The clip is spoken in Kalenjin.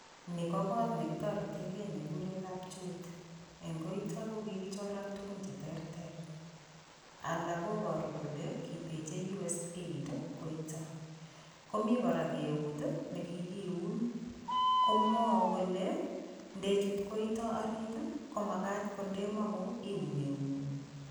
Ni ko koot nekitoretekei nekikure kapchoit. Eng koito ko kikichoran tukun cheteterter alak koboru kole, kiteche United States Aid koito, komi kora keut nekikiun komwou kole, ndechut koito orit, ko makat ko ndemong'u iun eung'ung.